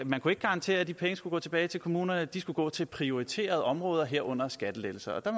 garantere at de penge skulle gå tilbage til kommunerne de skulle gå til prioriterede områder herunder skattelettelser der